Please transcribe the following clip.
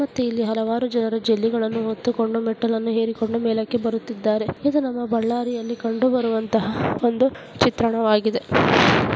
ಮತ್ತು ಇಲ್ಲಿ ಹಲವಾರು ಜನರು ಜಲ್ಲಿಗಳನ್ನು ಹೊತ್ತುಕೊಂಡು ಮೆಟ್ಟಿಲುಗಳನ್ನು ಹೆರಿಕೊಂಡು ಮೇಲಕ್ಕೆ ಬರುತ್ತಿದ್ದಾರೆ ಇದು ನಮ್ಮ ಬಳ್ಳಾರಿಯಲ್ಲಿ ಕಂಡುಬರುವಂತಹ ಒಂದು ಚಿತ್ರಣವಾಗಿದೆ.